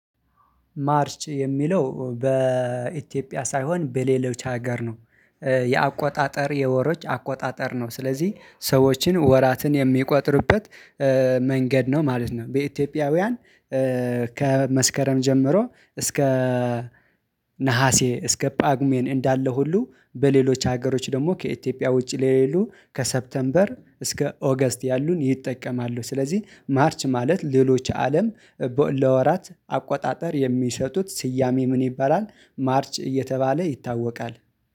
ማርች የሚለው በኢትዮጵያ ሳይሆን በሌሎች ሀገር ነው። የአቆጣጠር የወሮች አቆጣጠር ነው ስለዚህ ሰዎችን ወራትን የሚቆጥሩበት መንገድ ነው ማለት ነው። በኢትዮጵያውያን ከመስከረም ጀምሮ እስከ ነሀሴ እስከ ጳጉሜን እንዳለ ሁሉ በሌሎች ሀገሮች ደግሞ ከኢትዮጵያ ውጭ ለሌሉ ከሰፕተምበር እስከ ኦገስት ያሉን ይጠቀማሉ። ስለዚህ ማርች ማለት ሌሎች አለም ለወራት አቆጣጠር የሚሰጡት ስያሜ ምን ይባላል? ማርች እየተባለ ይታወቃል